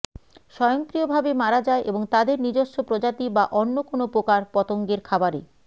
স্বয়ংক্রিয়ভাবে মারা যায় এবং তাদের নিজস্ব প্রজাতি বা অন্য কোনও পোকার পতঙ্গের খাবারে